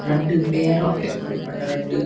ರಡ್ಡ್ pair of ಎರುಕುಲು ಪಂಡ ರಡ್ಡ್.